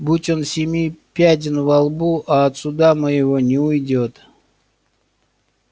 будь он семи пядень во лбу а от суда моего не уйдёт